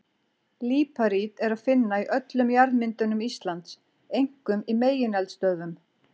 Líparít er að finna í öllum jarðmyndunum Íslands, einkum í megineldstöðvum.